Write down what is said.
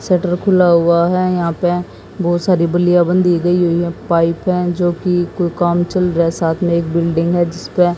shutter खुला हुआ है यहां पे बहोत सारी बलिया बंधी गई हुई है पाइप है जो की कोई काम चल रहा है साथ में एक बिल्डिंग है जिसपे--